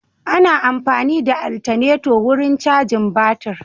Ana amfani da altaneto wurin cajin batir.